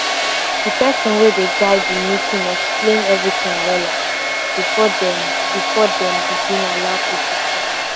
the person wey dey guide the meeting explain everything wella before dem before dem begin allow people talk